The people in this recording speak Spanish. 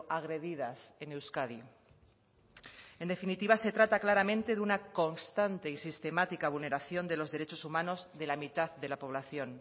agredidas en euskadi en definitiva se trata claramente de una constante y sistemática vulneración de los derechos humanos de la mitad de la población